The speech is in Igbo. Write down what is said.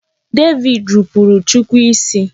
David rupuru chukwu isi.